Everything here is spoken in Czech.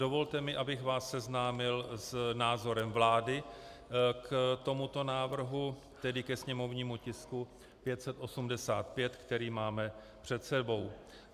Dovolte mi, abych vás seznámil s názorem vlády k tomuto návrhu, tedy ke sněmovnímu tisku 585, který máme před sebou.